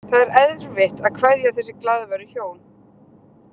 Það er erfitt að kveðja þessi glaðværu hjón.